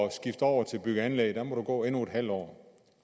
at skifte over til bygge og anlæg der må du gå endnu et halvt år